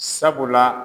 Sabula